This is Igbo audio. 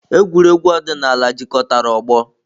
Egwuregwu ọdịnala jikọtara ọgbọ.